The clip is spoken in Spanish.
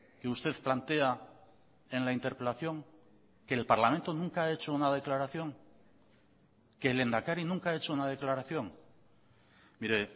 que usted plantea en la interpelación que el parlamento nunca ha hecho una declaración que el lehendakari nunca ha hecho una declaración mire